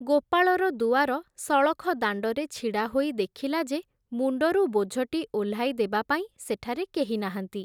ଗୋପାଳର ଦୁଆର ସଳଖ ଦାଣ୍ଡରେ ଛିଡ଼ା ହୋଇ ଦେଖିଲା ଯେ ମୁଣ୍ଡରୁ ବୋଝଟି ଓହ୍ଲାଇ ଦେବା ପାଇଁ ସେଠାରେ କେହି ନାହାଁନ୍ତି ।